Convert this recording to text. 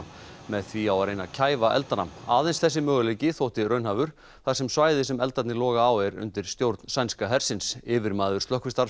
með því á að reyna að kæfa eldana aðeins þessi möguleiki þótti raunhæfur þar sem svæðið sem eldarnir loga á er undir stjórn sænska hersins yfirmaður